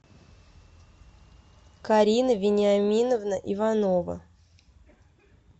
карина вениаминовна иванова